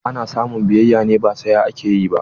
Ana samun biyayya ne, ba saya ake yi ba.